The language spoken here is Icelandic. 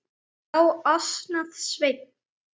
Já, ansaði Sveinn.